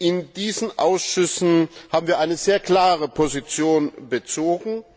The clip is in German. In diesen Ausschüssen haben wir eine sehr klare Position bezogen.